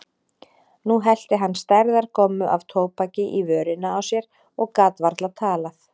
Nú hellti hann stærðar gommu af tóbaki í vörina á sér og gat varla talað.